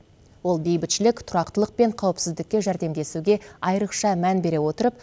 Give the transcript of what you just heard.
ол бейбітшілік тұрақтылық пен қауіпсіздікке жәрдемдесуге айрықша мән бере отырып